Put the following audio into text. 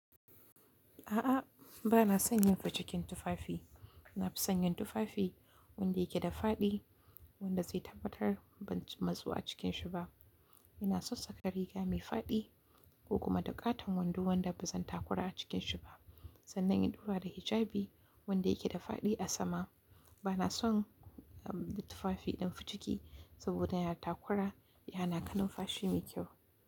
A'a, ba na son yin ficikin tufafi. Na fi son yin tufafi wanda yake da fadi wanda zai tabbatar ban ci mazu a cikin shi ba. Ina son saka riga mai fadi ko kuma daƙatan wando wanda ba zan takura a cikin shi ba, sannan in ɗaura da hijabi wanda yake da fadi a sama. Ba na son tufafi ɗin ficiki saboda yana takura, yana kanin fashi mai kyau.